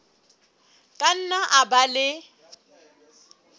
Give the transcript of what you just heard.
ka nna a ba le